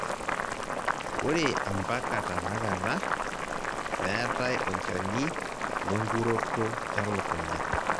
ore ampaka tanakata, meetae olchani le nkuroto elukunya